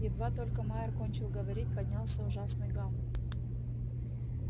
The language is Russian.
едва только майер кончил говорить поднялся ужасный гам